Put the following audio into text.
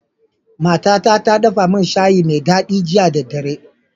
Mata ta ta dafa min shayi me dadi jiya da dare